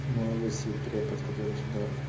мой лысый препод который всегда